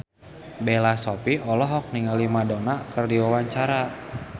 Bella Shofie olohok ningali Madonna keur diwawancara